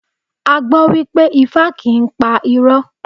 A gbàgbọ́ wípé Ifá kì í pa irọ́.